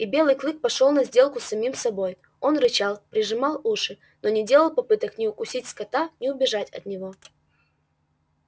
и белый клык пошёл на сделку с самим собой он рычал прижимал уши но не делал попыток ни укусить скотта ни убежать от него